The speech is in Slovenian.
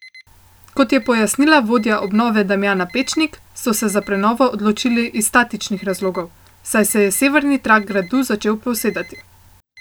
Kot je pojasnila vodja obnove Damjana Pečnik, so se za prenovo odločili iz statičnih razlogov, saj se je severni trakt gradu pričel posedati.